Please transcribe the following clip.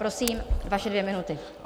Prosím, vaše dvě minuty.